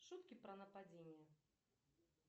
шутки про нападения